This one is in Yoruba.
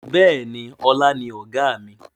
Bẹ́ẹ̀ni, ọlá ni Ọ̀gá mi.